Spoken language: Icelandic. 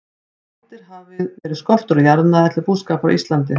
Um aldir hafði verið skortur á jarðnæði til búskapar á Íslandi.